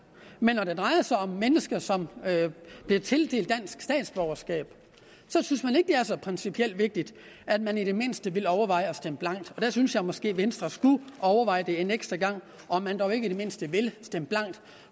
men når det drejer sig om mennesker som bliver tildelt dansk statsborgerskab så synes man ikke det er så principielt vigtigt at man i det mindste vil overveje at stemme blankt og der synes jeg måske at venstre skulle overveje en ekstra gang om man dog ikke i det mindste vil stemme blankt